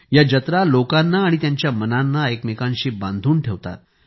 या जत्रालोकांना आणि त्यांच्या मनांना एकमेकांशी बांधून ठेवतात